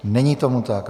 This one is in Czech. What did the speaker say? Není tomu tak.